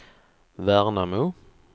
Värnamo